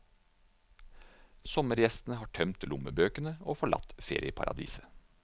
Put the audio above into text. Sommergjestene har tømt lommebøkene og forlatt ferieparadiset.